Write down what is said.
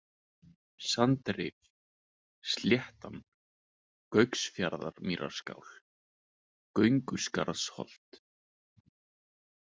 Sandrif, Sléttan, Gauksmýrarskál, Gönguskarðsholt